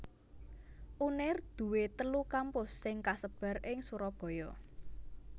Unair duwé telu kampus sing kasebar ing Surabaya